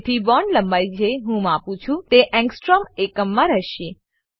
જેથી બોન્ડ લંબાઈ જે હું માપું છું તે એંગસ્ટ્રોમ એકમમાં રહેશે